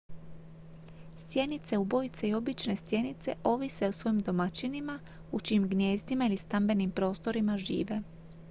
stjenice ubojice i obične stjenice ovise o svojim domaćinima u čijim gnijezdima ili stambenim prostorima žive